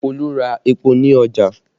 Olu ra epo ní ọjà